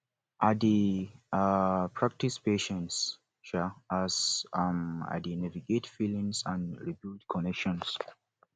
i dey um practice patience um as um i dey navigate feelings and rebuild connections